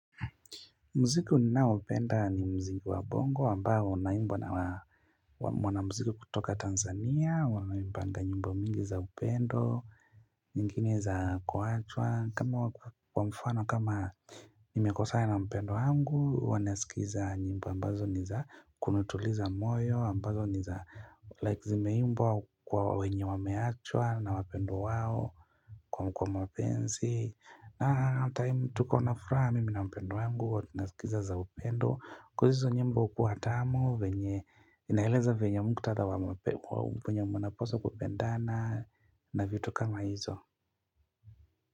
Muziki ninao upenda ni muziki wa bongo ambao unaimbwa na wanamuziki kutoka Tanzania, waimbanga nyimbo mingi za upendo Ngine za kuachwa, kama wa, kwa mfano kama nimekosana na mpendwa wangu huwa nasikiza nyimbo ambazo ni za kunituliza moyo ambazo ni za, Like, zimeimbwa kwa wenye wameachwa na wapendwa wao Kwa mapenzi na time, tuko na furaha mimi na mpendwa wangu, huwa tunasikiza za upendo, coz hizo nyimbo hukuwa tamu venye, inaeleza venye muktadha wa mape wa venye mwanapaswa kupendana na vitu kama hizo.